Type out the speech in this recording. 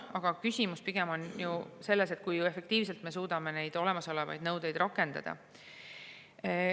Aga küsimus on ju pigem selles, kui efektiivselt me suudame olemasolevaid nõudeid rakendada.